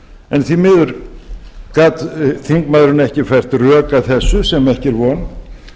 en því miður gat þingmaðurinn ekki fært rök að þessu sem ekki er von